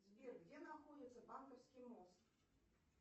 сбер где находится банковский мост